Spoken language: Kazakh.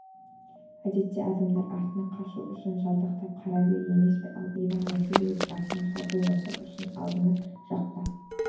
әдетте адамдар артына қашу үшін жалтақтап қарайды емес пе ал иван васильевич артына шабуыл жасау үшін алдыңғы жақта